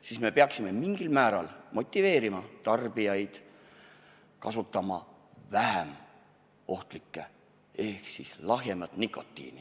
siis peaksime tarbijaid mingil määral motiveerima kasutama mõnda vähem ohtlikku ainet ehk lahjemat nikotiini.